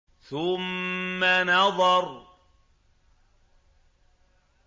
ثُمَّ نَظَرَ